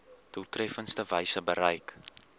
doeltreffendste wyse bereik